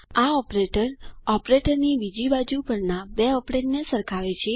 આ ઓપરેટર ઓપરેટરની બીજી બાજુ પરના બે ઓપેરેન્ડને સરખાવે છે